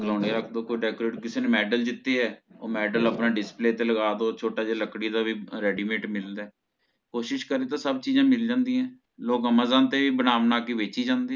ਰੱਖ ਦੋ ਕੋਈ Decorative ਕਿਸੇ ਨੇ Medal ਜਿੱਤੀ ਹੈ ਓਹ ਮੇਡਲ ਆਪਣਾ Display ਚ ਲ੍ਗਾਡੋ ਛੋਟਾ ਜੇਹੜਾ ਲਕੜੀ ਦਾ ਵੀ Readymade ਮਿਲਦਾ ਹੈ ਕੋਸ਼ਿਸ਼ ਕਰੇ ਤਹ ਸਬ ਚੀਜ਼ਾ ਮਿਲ ਜਾਂਦੀ ਹੈ ਲੋਕ Amazon ਤੇ ਵੀ ਬਣਾ ਬਣਾ ਕੇ ਵੇਚੀ ਜਾਂਦੇ ਹੈ